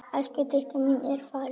Elsku Didda mín er farin.